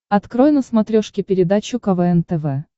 открой на смотрешке передачу квн тв